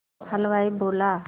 हलवाई बोला